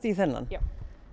í þennan já